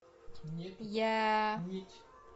я